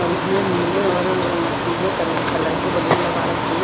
और इसमें नीले और अ पीले कलर कलर के बलून लगा रखे हैं।